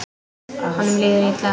Honum líður illa.